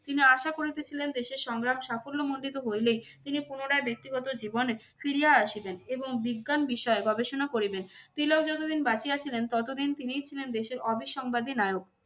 তিনি আশা করিতে ছিলেন দেশের সংগ্রাম সাফল্যমণ্ডিত হইলেই তিনি পুনরায় ব্যক্তিগত জীবনে ফিরিয়া আসিবেন এবং বিজ্ঞান বিষয়ে গবেষণা করিবেন। তিলক যতদিন বাঁচিয়া ছিলেন ততদিন তিনিই ছিলেন দেশের অবিসংবাদী নায়ক।